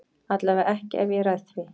Allavega ekki ef ég ræð því.